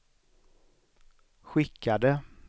skickade